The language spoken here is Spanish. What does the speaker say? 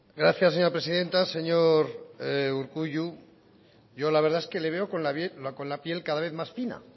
gracias señora presidenta señor urkullu yo la verdad es que le veo con la piel cada vez más fina